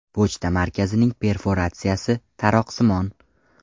Pochta markasining perforatsiyasi taroqsimon.